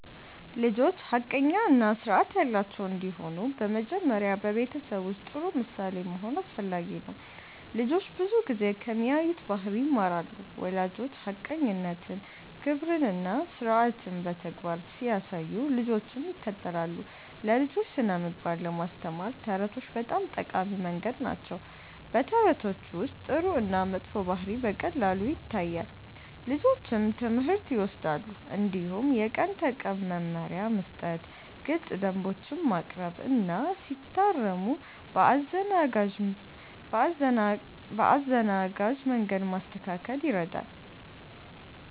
ልጆች ሐቀኛ እና ስርዓት ያላቸው እንዲሆኑ በመጀመሪያ በቤተሰብ ውስጥ ጥሩ ምሳሌ መሆን አስፈላጊ ነው። ልጆች ብዙ ጊዜ ከሚያዩት ባህሪ ይማራሉ። ወላጆች ሐቀኝነትን፣ ክብርን እና ስርዓትን በተግባር ሲያሳዩ ልጆችም ይከተላሉ። ለልጆች ስነ-ምግባር ለማስተማር ተረቶች በጣም ጠቃሚ መንገድ ናቸው። በተረቶች ውስጥ ጥሩ እና መጥፎ ባህሪ በቀላሉ ይታያል፣ ልጆችም ትምህርት ይወስዳሉ። እንዲሁም የቀን ተቀን መመሪያ መስጠት፣ ግልፅ ደንቦች ማቅረብ እና ሲታረሙ በአዘናጋጅ መንገድ ማስተካከል ይረዳል።